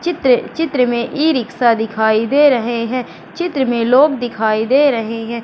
चित्र चित्र में ई-रिक्शा दिखाई दे रहे हैं। चित्र में लोग दिखाई दे रहे हैं।